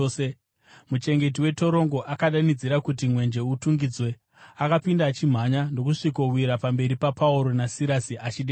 Muchengeti wetorongo akadanidzira kuti mwenje itungidzwe, akapinda achimhanya ndokusvikowira pamberi paPauro naSirasi achidedera.